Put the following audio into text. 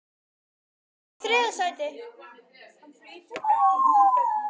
Theodór Elmar Bjarnason Fallegasti knattspyrnumaðurinn í deildinni?